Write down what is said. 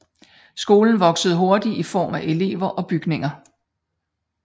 Skolen voksede hurtigt i form af elever og bygninger